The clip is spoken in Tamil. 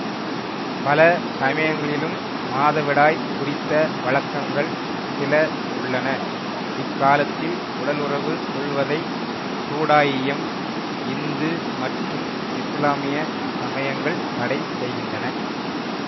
பல சமயங்களிலும் மாதவிடாய் குறித்த வழக்கங்கள் சில உள்ளன இக்காலத்தில் உடலுறவு கொள்வதை சூடாயியம் இந்து மற்றும் இசுலாமிய சமயங்கள் தடை செய்கின்றன